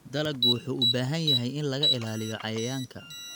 Dalaggu wuxuu u baahan yahay in laga ilaaliyo cayayaanka.